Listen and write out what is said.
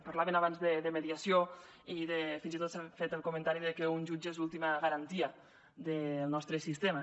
parlaven abans de mediació i fins i tot s’ha fet el comentari de que un jutge és l’última garantia del nostre sistema